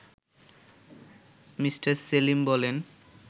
me Selim বলেন